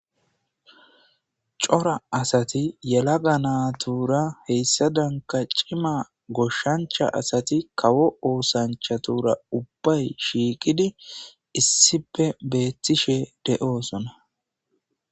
cora asati yelaga naatura heyssa danka cima goshshancha asati kawo oosanchatura ubbay shiiqidi issipe beettishe de7oosona